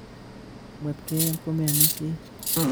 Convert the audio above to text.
Kotkomemwetke komeomisie